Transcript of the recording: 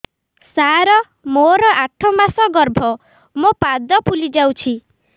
ସାର ମୋର ଆଠ ମାସ ଗର୍ଭ ମୋ ପାଦ ଫୁଲିଯାଉଛି